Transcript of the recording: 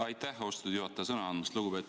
Aitäh, austatud juhataja, sõna andmast!